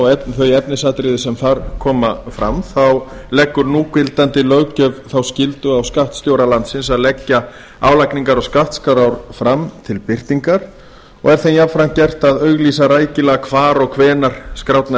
og þau efnisatriði sem þar koma fram leggur núgildandi löggjöf þá skyldu á skattstjóra landsins að leggja álagningar og skattskrár fram til birtingar og er þeim jafnframt gert að auglýsa rækilega hvar og hvenær skrárnar